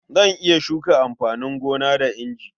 Zan iya shuka amfanin gona da inji.